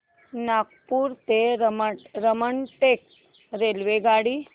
नागपूर ते रामटेक रेल्वेगाडी